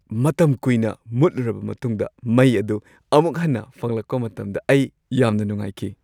ꯃꯇꯝ ꯀꯨꯏꯅ ꯃꯨꯠꯂꯨꯔꯕ ꯃꯇꯨꯡꯗ ꯃꯩ ꯑꯗꯨ ꯑꯃꯨꯛ ꯍꯟꯅ ꯐꯪꯂꯛꯄ ꯃꯇꯝꯗ ꯑꯩ ꯌꯥꯝꯅ ꯅꯨꯡꯉꯥꯏꯈꯤ꯫